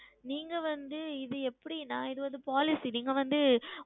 நீங்கள் வந்து இது எப்படி என்றால் இது வந்து Policy நீங்கள் வந்து